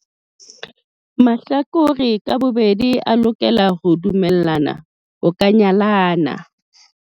Mahlakore ka bobedi a lokela ho dumellana ho ka nyalana.